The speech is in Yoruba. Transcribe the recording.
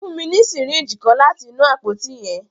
Fun mi ni syringe kan lati inu apoti yẹn.